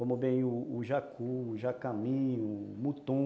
Como bem o jacu, o jacaminho, o mutum.